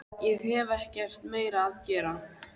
Hér hef ég ekkert meira að gera.